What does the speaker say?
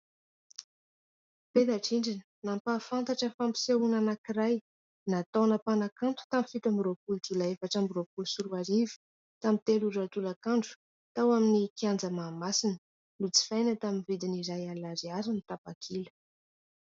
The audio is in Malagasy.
Peta-drindrina nampahafantatra fampisehoana anankiray nataon'ny mpanakanto tamin'ny fito amby roapolo jolay efatra amby roapolo sy roa arivo tamin'ny telo ora tolakandro tao amin'ny kanja Mahamasina. Nojifaina tamin'ny vidiny iray alina ariary ny tapakila.